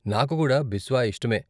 నాకు కూడా బిస్వా ఇష్టమే.